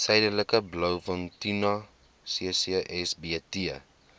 suidelike blouvintuna ccsbt